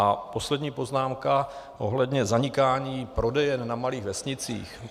A poslední poznámka ohledně zanikání prodejen na malých vesnicích.